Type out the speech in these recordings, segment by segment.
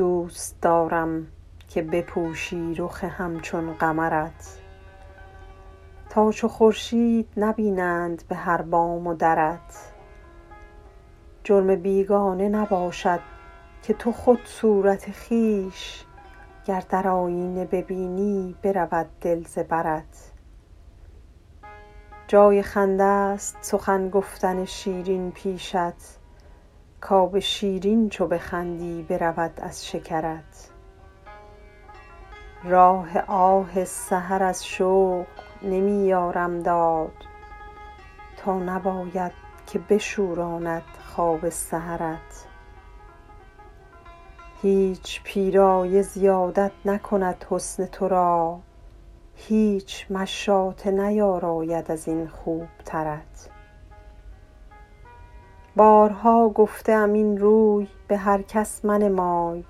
دوست دارم که بپوشی رخ همچون قمرت تا چو خورشید نبینند به هر بام و درت جرم بیگانه نباشد که تو خود صورت خویش گر در آیینه ببینی برود دل ز برت جای خنده ست سخن گفتن شیرین پیشت کآب شیرین چو بخندی برود از شکرت راه آه سحر از شوق نمی یارم داد تا نباید که بشوراند خواب سحرت هیچ پیرایه زیادت نکند حسن تو را هیچ مشاطه نیاراید از این خوبترت بارها گفته ام این روی به هر کس منمای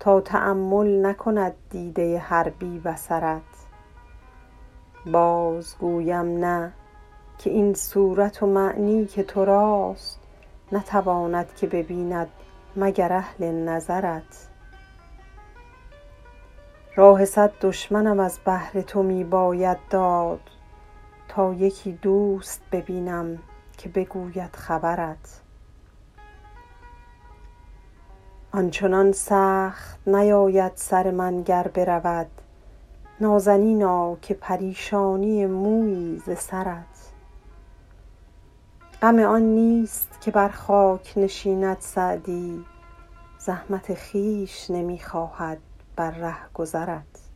تا تأمل نکند دیده هر بی بصرت باز گویم نه که این صورت و معنی که تو راست نتواند که ببیند مگر اهل نظرت راه صد دشمنم از بهر تو می باید داد تا یکی دوست ببینم که بگوید خبرت آن چنان سخت نیاید سر من گر برود نازنینا که پریشانی مویی ز سرت غم آن نیست که بر خاک نشیند سعدی زحمت خویش نمی خواهد بر رهگذرت